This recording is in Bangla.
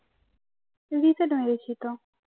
reset হয়ে গেছিলো